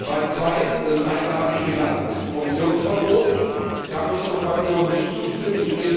Bei zweien einen habe ich genannt, das Provisionsverbot kann unsere Fraktion nicht zustimmen.